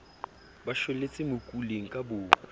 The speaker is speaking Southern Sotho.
ba shwelletse mokuleng ka boomo